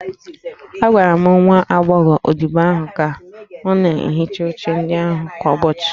A gwara nwa agbọghọ odibo ahụ ka ọ na-ehicha oche ndị ahụ kwa ụbọchị